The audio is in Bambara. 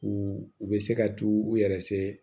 U u bɛ se ka t'u u yɛrɛ